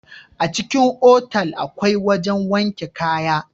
A cikin otal akwai wajen wanke kaya